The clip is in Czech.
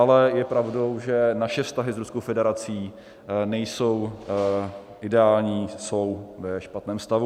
Ale je pravdou, že naše vztahy s Ruskou federací nejsou ideální, jsou ve špatném stavu.